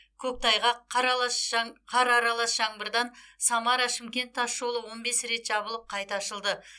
көктайғақ қар аралас жаңбырдан самара шымкент тасжолы он бес рет жабылып қайта ашылды